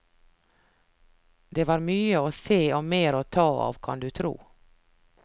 Det var mye å se og mer å ta av, kan du tro.